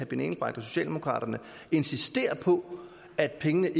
benny engelbrecht og socialdemokraterne insisterer på at pengene